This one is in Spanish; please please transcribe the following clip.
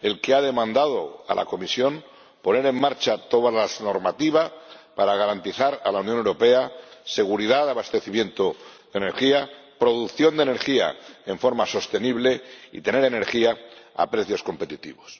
el que ha pedido a la Comisión que pusiera en marcha toda la normativa para garantizar a la Unión Europea seguridad de abastecimiento de energía, producción de energía de forma sostenible y tener energía a precios competitivos.